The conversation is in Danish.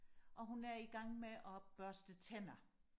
og hun er i gang med og børste tænder